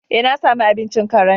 Eh, na sami abincin karen.